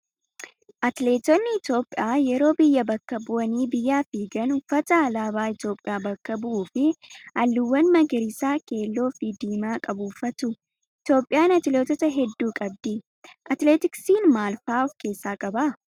Atileetonni Itoophiyaa yeroo biyya bakka bu'anii biyyaaf fiigan uffata alaabaa Itoophiyaa bakka bu'uu fi halluuwwan magariisa, keelloo fi diimaa qabu uffatu. Itoophiyaan atileetota hedduu qabdi. Atileetiksiin maal fa'aa of keessaa qaba?